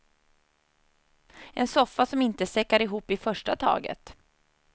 En soffa som inte säckar ihop i första taget.